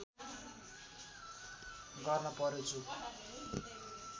गर्न पर्‍यो जो